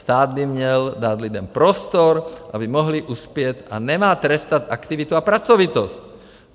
Stát by měl dát lidem prostor, aby mohli uspět, a nemá trestat aktivitu a pracovitost.